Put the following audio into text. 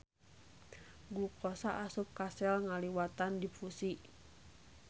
Glukosa asup ka sel ngaliwatan difusi.